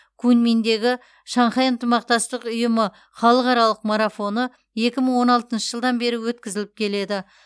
куньминдегі шанхай ынтымақтастық ұйымы халықаралық марафоны екі мың он алтыншы жылдан бері өткізіліп келеді